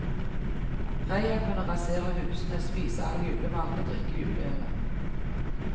Reia kunne rasere husene, spise alt julematen og drikke juleølet.